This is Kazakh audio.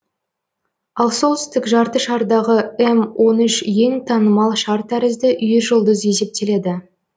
ал солтүстік жартышардағы м он үш ең танымал шар тәрізді үйіржұлдыз есептеледі